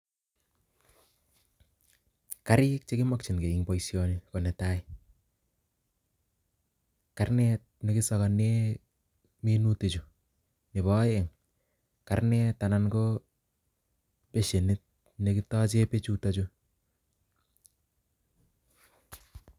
Kariik chekipaishe Eng boishonii konkarnet anan ko bashenit nekitacheee pechutok chuu